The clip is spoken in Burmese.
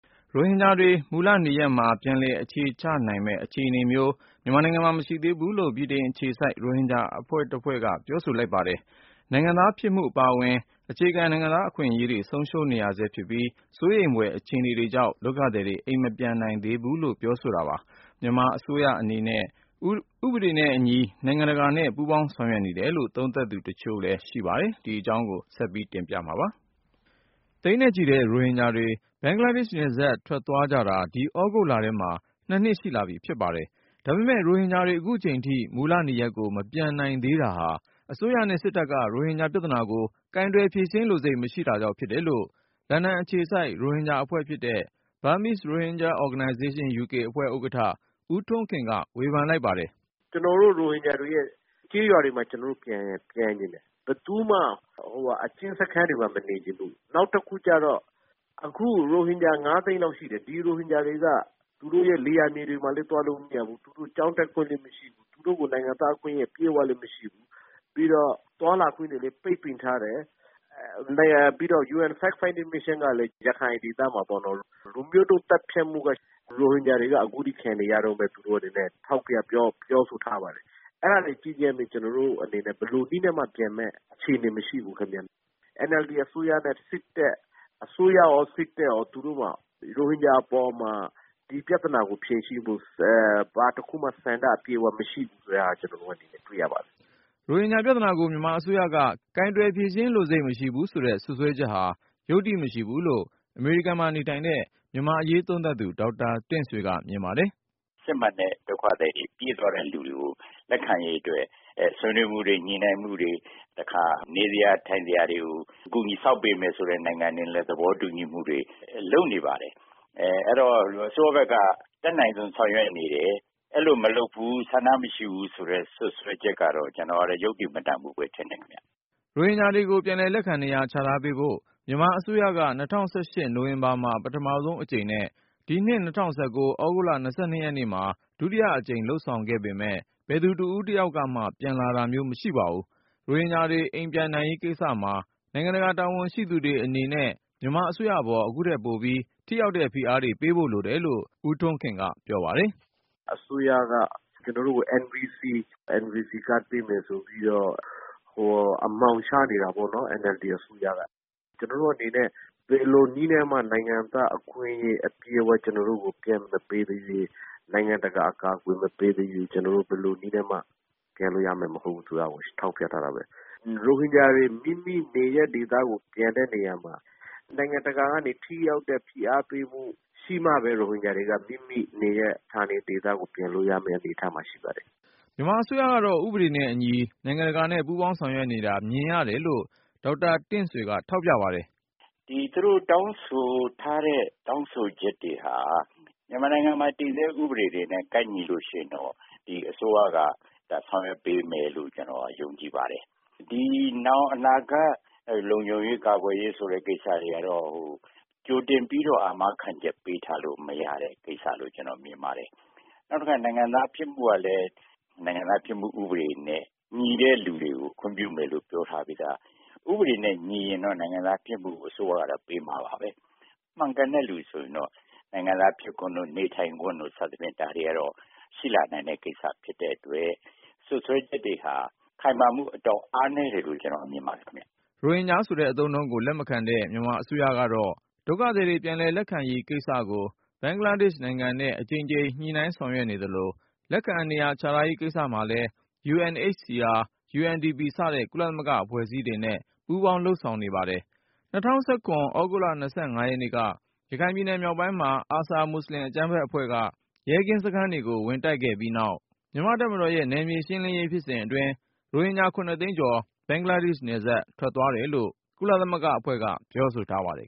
ရိုဟင်ဂျာတွေ မူလနေရပ်မှာ ပြန်လည်အခြေချနိုင်မယ့်အခြေနေမျိုး မြန်မာနိုင်ငံမှာ မရှိသေးဘူးလို့ ဗြိတိန်အခြေစိုက် ရိုဟင်ဂျာအဖွဲ့က ပြောဆို လိုက်ပါတယ်။ နိုင်ငံသားဖြစ်မှု အပါအဝင်၊ အခြေခံ နိုင်ငံသား အခွင့်အရေးတွေ ဆုံးရှုံးနေဆဲဖြစ်ပြီး စိုးရိမ်ဖွယ် အခြေအနေတွေကြောင့် ဒုက္ခသည်တွေ အိမ်မပြန်နိုင်သေးဘူးလို့ ပြောဆိုတာပါ။ မြန်မာအစိုးရ အနေနဲ့ ဥပဒေနဲ့အညီ နိုင်ငံတကာနဲ့ ပူးပေါင်းဆောင်ရွက် နေတယ်လို့ သုံးသပ်သူတချို့က မြင်ပါတယ်။ အပြည့်အစုံကို ကိုဉာဏ်ဝင်းအောင်က တင်ပြထားပါတယ်။ သိန်းနဲ့ချီတဲ့ ရိုဟင်ဂျာတွေ ဘင်္ဂလားဒေ့ရှ်နယ်စပ် ထွက်သွားကြတာ ဒီသြဂုတ်လထဲမှာ နှစ်ရှိလာပြီ ဖြစ်ပါတယ်။ ဒါပေမယ့် ရိုဟင်ဂျာတွေ အခုချိန်ထိ မူလနေရပ်ကို မပြန်နိုင်သေးတာဟာ အစိုးရနဲ့စစ်တပ်က ရိုဟင်ဂျာပြဿနာကို ကိုင်တွင်ဖြေရှင်းပေးလိုစိတ် မရှိတာကြောင့်ဖြစ်တယ်လို့ လန်ဒန်အခြေစိုက် ရိုဟင်ဂျာအဖွဲ့ဲဖြစ်တဲ့ BROUK (Burmese Rohingya Organization UK) အဖွဲ့ ဥက္ကဋ္ဌ ဦးထွန်းခင်က ဝေဖန်လိုက်ပါတယ်။ “ကျနော်တို့ ရိုဟင်ဂျာတွေရဲ့ ကျေးရွာတွေမှာ ကျနော်တို့ ပြန်ချင်တယ်။ ဘယ်သူမှ အကျဉ်းစခန်းတွေမှာ မနေချင်ဘူး။ နောက်တခုကျတော့ အခု ရိုဟင်ဂျာ ငါးသိန်းလောက်ရှိတယ်။ ဒီရိုဟင်ဂျာတွေက သူတို့ရဲ့ လယ်ယာမြေတွေမှာလည်း သွားလို့မရဘူး။ သူတို့ ကျောင်းတက်ခွင့်လည်း မရှိဘူး။ သူတို့ကို နိုင်ငံသားအခွင့်အရေး အပြည့်အဝလည်း မရှိဘူး။ ပြီးတော့ သွားလာခွင့်တွေလည်း ပိတ်ပင်ထားတယ်။ ပြီးတော့ UN facts finding mission ကလည်း ရခိုင်ဒေသမှာ လူမျိုးတုံးသတ်ဖြတ်မှုက ရိုဟင်ဂျာတွေက အခုထိ ခံနေရတုန်းပဲ။ သူတို့ ထောက်ပြ ပြောဆိုထားပါတယ်။ အဲဒါတွေ ကြည့်ချင်းအားဖြင့် ကျနော်တို့အနေနဲ့ ဘယ်လိုနည်းနဲ့မှ ပြန်မယ့်အခြေအနေ မရှိဘူးခင်ဗျ။ NLD အစိုးရရော စစ်တပ်ရော သူတို့မှာ ရိုဟင်ဂျာအပေါ်မှာ ဒီပြဿနာကို ဖြေရှင်းဖို့ ဘာတခုမှ ဆန္ဒအပြည့်အဝ မရှိဘူးဆိုတဲ့ဟာ ကျနော်တို့ ဒီနေ့ တွေ့ရပါတယ်။” ရိုဟင်ဂျာပြသနာကို မြန်မာအစိုးရက ကိုင်တွင်ဖြေရှင်းလိုစိတ် မရှိဘူးဆိုတဲ့ စွပ်စွဲချက်ဟာ ယုတ္တိမရှိဘူးလို့ အမေရိကန်မှာနေထိုင်တဲ့ မြန်မာ့အရေးသုံးသပ်သူ ဒေါက်တာ တင့်ဆွေက မြင်ပါတယ်။ “စစ်မှန်တဲ့ဒုက္ခသည်တွေ ပြေးသွားတဲ့လူတွေကို လက်ခံရေးအတွက် ဆွေးနွေးမှုတွေ ညှိနှိုင်းမှုတွေ၊ တခါ နေစရာ ထိုင်စရာတွေကို ကူညီဆောက်ပေးမယ်ဆိုတဲ့ နိုင်ငံတွေလည်း သဘောတူညီမှုတွေ လုပ်နေပါတယ်။ အဲတော့ အစိုးရဘက်က အတတ်နိုင်ဆုံး ဆောင်ရွက်နေတယ်။ အဲလိုမလုပ်ဘူး ဆန္ဒမရှိဘူးဆိုတဲ့ စွပ်စွဲချက်ကတော့ ကျနော်ကတော့ ယုတ္တိမတန်ဘူးဘဲ ထင်တယ်ခင်ဗျ။” ရိုဟင်ဂျာတွေကို ပြန်လည်လက်ခံ နေရာချထားပေးဖို့ မြန်မာအစိုးရက ၂၀၁၈ နိုဝင်ဘာမှာ ပထမဆုံးအကြိမ်နဲ့ ဒီနှစ် ၂၀၁၉ သြဂုတ်လ ၂၂ ရက်မှာ ဒုတိယအကြိမ် လုပ်ဆောင်ခဲ့ပေမယ့် ဘယ်သူတဦးတယောက်မှ ပြန်လာခြင်း မရှိပါဘူး။ ရိုဟင်ဂျာတွေ အိမ်ပြန်နိုင်ရေးကိစ္စမှာ နိုင်ငံတကာ တာဝန်ရှိသူတွေအနေနဲ့ မြန်မာအစိုးရအပေါ် အခုထက်ပိုပြီး ထိရောက်တဲ့ ဖိအားတွေ ပေးဖို့ လိုတယ်လို့ BROUK အဖွဲ့ ဦးထွန်းခင်က ပြောပါတယ်။ “အစိုးရက ကျနော်တို့ကို NVC ကတ် ပေးမယ်ဆိုပြီးတော့ အမှောင်ချနေတာပေါ့နော်၊ NLD အစိုးရက။ ကျနော်တို့အနေနဲ့ ဘယ်လိုနည်းနဲ့မှ နိုင်ငံသားအခွင့်အရေး အပြည့်အဝ ကျနော်တို့ကို ပြန်မပေးသေးသရွေ့၊ နိုင်ငံတကာ အကာအကွယ် မပေးသရွေ့ ကျနော်တို့ ဘယ်လိုနည်းနဲ့မှ ပြန်လို့ရမယ် မဟုတ်ဘူး ဆိုတာကို ထောက်ပြထားတာပဲ။ ရိုဟင်ဂျာတွေ မိမိနေရပ်ဒေသကို ပြန်တဲ့နေရာမှာ နိုင်ငံတကာကနေ ထိရောက်တဲ့ ဖိအားပေးမှု ရှိမှပဲ ရိုဟင်ဂျာတွေက မိမိနေရပ်၊ ဌာနေဒေသကို ပြန်လို့ရမယ့် အနေအထားမှာ ရှိပါတယ်။” မြန်မာအစိုးရကတော့ ဥပဒေနဲ့အညီ နိုင်ငံတကာနဲ့ ပူးပေါင်းဆောင်ရွက်နေတာ မြင်ရတယ်လို့ ဒေါက်တာတင့်ဆွေက ထောက်ပြပါတယ်။ “သူတို့တောင်းဆိုထားတဲ့ တောင်းဆိုချက်တွေဟာ မြန်မာနိုင်ငံမှာ တည်ဆဲဥပဒေတွေနဲ့ ကိုက်ညီလို့ရှိရင်တော့ ဒီအစိုးရက ဆောင်ရွက်ပေးမယ်လို့ ကျနော်က ယုံကြည်ပါတယ်။ နောင် အနာဂတ် လုံခြုံရေး ကာကွယ်ရေးဆိုတဲ့ ကိစ္စတွေကတော့ ကြိုတင်ပြီးတော့ အာမခံချက်ပေးထားလို့ မရတဲ့ကိစ္စလို့ ကျနော် မြင်ပါတယ်။ နောက်တခါ နိုင်ငံသားဖြစ်မှုကလည်း နိုင်ငံသားဖြစ်မှု ဥပဒေနဲ့ ညီတဲ့လူတွေကို ခွင့်ပြုမယ်လို့ ပြောထားပြီးသား။ ဥပဒေနဲ့ ညီရင်တော့ နိုင်ငံသားဖြစ်မှုကို အစိုးရက ပေးမှာပါပဲ။ မှန်ကန်တဲ့လူ ဆိုရင်တော့ နိုင်ငံသားဖြစ်ခွင့်တို့ နေထိုင်ခွင့်တို့ စသဖြင့် ဒါတွေကတော့ ရှိလာနိုင်တဲ့ကိစ္စ ဖြစ်တဲ့အတွက် စွပ်စွဲချက်တွေဟာ ခိုင်မာမှု အတော်အားနည်းတယ်လို့ ကျနော်မြင်ပါတယ်ခင်ဗျ။” ရိုဟင်ဂျာဆိုတဲ့ အသုံးအနှုန်းကို လက်မခံတဲ့ မြန်မာအစိုးရကတော့ ဒုက္ခသည်တွေ ပြန်လည်လက်ခံရေးကိစ္စကို ဘင်္ဂလားဒေ့ရှ်နိုင်ငံနဲ့ အကြိမ်ကြိမ် ညှိနှိုင်းဆောင်ရွက်နေသလို လက်ခံနေရာချထားရေး ကိစ္စမှာလည်း UNHCR/UNDP စတဲ့ ကုလသမဂ္ဂအဖွဲ့အစည်းတွေနဲ့ ပူးပေါင်းလုပ်ဆောင်နေပါတယ်။ ၂၀၁၇ သြဂုတ်လ ရက်နေ့က ရခိုင်ပြည်နယ်မြောက်ပိုင်းမှာ ARSA မွတ်ဆလင်အကြမ်းဖက်အဖွဲ့က ရဲကင်းစခန်းတွေကို ဝင်တိုက်ခဲ့ပြီးနောက် မြန်မာ့တပ်မတော်ရဲ့ နယ်မြေရှင်းလင်းရေး ဖြစ်စဉ်အတွင်း ရိုဟင်ဂျာ သိန်းကျော် ဘင်္ဂလားဒေ့ရှ်နယ်စပ် ထွက်သွားတယ်လို့ ကုလသမဂ္ဂအဖွဲ့ ပြောဆိုထားပါတယ်